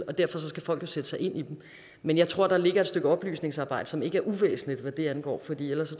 og derfor skal folk jo sætte sig ind i dem men jeg tror der ligger et stykke oplysningsarbejde som ikke er uvæsentligt hvad det angår for ellers